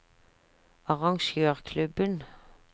arrangørklubben